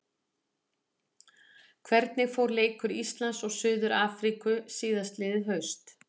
Hvernig fór leikur Íslands og Suður-Afríku síðastliðið haust?